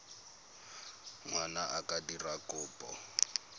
ngwana a ka dira kopo